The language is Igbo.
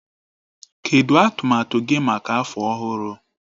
Kedụ atụmatụ gị maka afọ ọhụrụ?